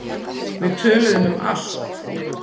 Við töluðum um allt.